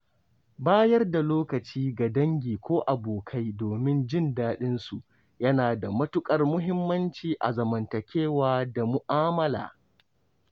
Bayar da lokaci ga dangi ko abokai domin jin daɗin su yana da matuƙar muhimmanci a zamantakewa da mu'amala.